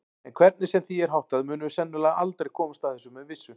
En hvernig sem því er háttað munum við sennilega aldrei komast að þessu með vissu.